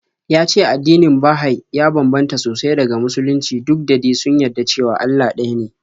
Ya ce addinin Baha'i ya bambanta sosai daga Musulunci duk da de sun yadda cewa Allah ɗaya ne.